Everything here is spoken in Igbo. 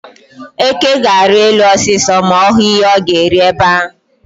Eke ga-arị elu osisi ma ọ hụ ihe ọ ga-eri ebe ahụ.